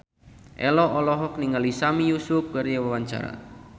Ello olohok ningali Sami Yusuf keur diwawancara